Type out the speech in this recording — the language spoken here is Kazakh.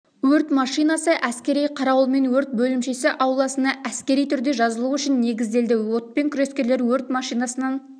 өрт машинасы әскери қарауылмен өрт бөлімшесі ауласына әскери түрде жазылу үшін негізделді отпен күрескерлер өрт машинасынан